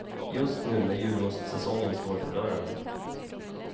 Just nu när julmustsäsongen står för dörren.